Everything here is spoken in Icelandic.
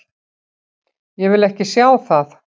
Ég vil ekki sjá það.